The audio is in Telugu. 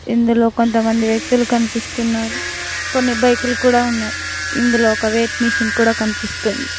ఇందులో కొంత మంది వ్యక్తులు కనిపిస్తున్నారు కొన్ని బైకులు కూడా ఉన్నాయి ఇందులో ఒక వేట్ మిషిన్ కూడా కనిపిస్తుంది.